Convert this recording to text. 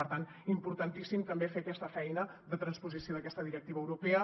per tant importantíssim també fer aquesta feina de transposició d’aquesta directiva europea